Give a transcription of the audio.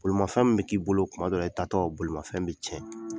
Bolimafɛn min bɛ k'i bolo tuma dɔw i taatɔ bolifɛn bɛ tiɲɛ